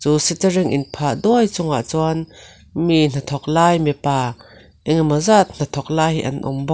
chu shuttering in phah duai chuangah chuan mi hnathawk lai mipa engmaw zat hnathawk lai hi an awm bawk.